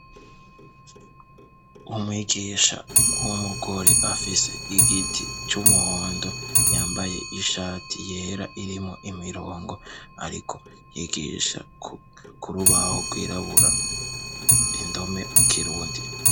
Umwigisha w'umugore afise igiti c'umuhondo, yambaye ishati yera irimwo imirongo, ariko yigisha ku rubaho rwirabura indome mu kirundi.